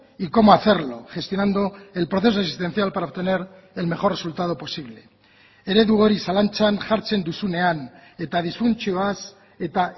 y cómo hacerlo gestionando el proceso existencial para obtener el mejor resultado posible eredu hori zalantzan jartzen duzunean eta disfuntzioaz eta